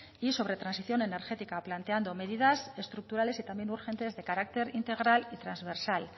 y sobre transición energética planteando medidas estructurales y también urgentes de carácter integral y transversal